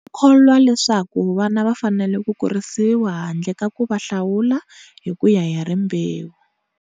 U kholwa leswaku vana va fanele ku kurisiwa handle ka ku va hlawula hi ku ya hi rimbewu.